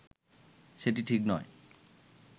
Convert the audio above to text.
সেটি ঠিক নয়